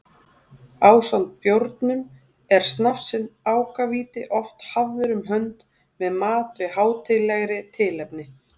Ásamt bjórnum er snafsinn ákavíti oft hafður um hönd með mat við hátíðlegri tilefni.